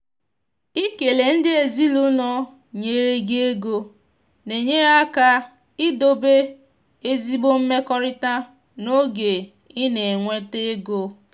ikele ndị ezinụlọ nyere gi ego na-enyere aka idobe ezigbo mmekọrịta n’oge ị na-enweta ego.